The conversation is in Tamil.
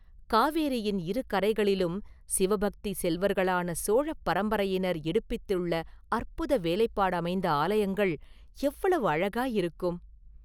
காவேரியின் இரு கரைகளிலும் சிவபக்தி செல்வர்களான சோழப் பரம்பரையினர் எடுப்பித்துள்ள அற்புத வேலைப்பாடமைந்த ஆலயங்கள் எவ்வளவு அழகாயிருக்கும்?